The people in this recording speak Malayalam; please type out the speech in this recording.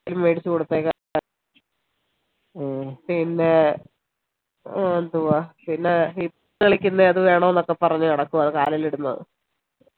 വല്ലതും മേടിച്ചു കൊടുത്തേക്കാൻ പിന്നെ ഹും എന്തുവാ പിന്നെ കളിക്കുന്നെ അത് വേണംന്നൊക്കെ പറഞ് നടക്കുവ അത് കാലിൽ ഇടുന്നത്